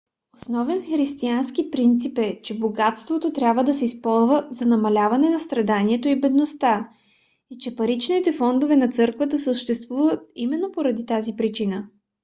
основен християнски принцип е че богатството трябва да се използва за намаляване на страданието и бедността и че паричните фондове на църквата съществуват именно поради тази причина